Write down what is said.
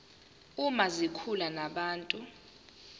uma zikhuluma nabantu